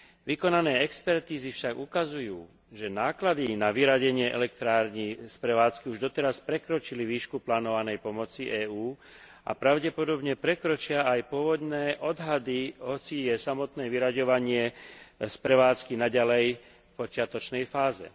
Vykonané expertízy však ukazujú, že náklady na vyradenie elektrární z prevádzky už doteraz prekročili výšku plánovanej pomoci EÚ a pravdepodobne prekročia aj pôvodné odhady, hoci je samotné vyraďovanie z prevádzky naďalej v počiatočnej fáze.